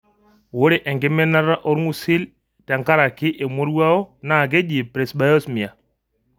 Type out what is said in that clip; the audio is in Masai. Ore enkiminata olng'usil tenkaraki emoruao naa nkeji presbyosmia.